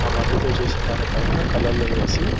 ఆ మట్టితో చేసిన దానిపైన కలర్లు వేసి --